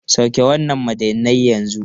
Sauke wannan madannai yanzu!